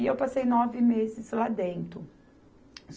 E eu passei nove meses lá dentro.